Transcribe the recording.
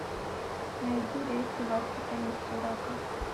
найди рейсы в астрахань из сурата